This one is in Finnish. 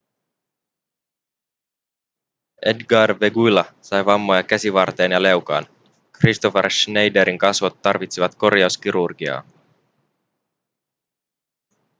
edgar veguilla sai vammoja käsivarteen ja leukaan kristoffer schneiderin kasvot tarvitsivat korjauskirurgiaa